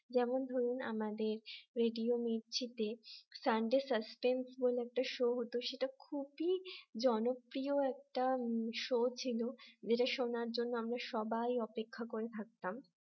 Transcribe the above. যেমন ধরুন আমাদের রেডিও মিরচিতে sunday suspense বলে একটা show হত সেটা খুবই জনপ্রিয় একটা show ছিল যেটা শোনার জন্য আমরা সবাই অপেক্ষা করে থাকতাম